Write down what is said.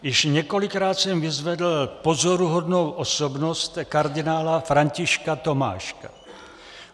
Již několikrát jsem vyzvedl pozoruhodnou osobnost kardinála Františka Tomáška.